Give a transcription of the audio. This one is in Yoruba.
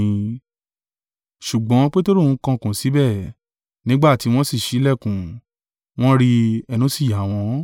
Ṣùgbọ́n Peteru ń kànkùn síbẹ̀, nígbà tí wọn sì ṣí ìlẹ̀kùn, wọ́n rí i, ẹnu sì yá wọ́n.